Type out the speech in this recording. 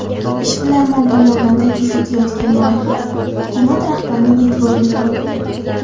Ishbilarmon tomonidan taklif etilayotgan loyiha hukumat rahbarining e’tiborini tortdi.